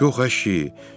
Yox əşi!